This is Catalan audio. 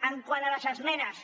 quant a les esmenes